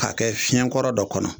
K'a kɛ fiɲɛkɔrɔ dɔ kɔnɔ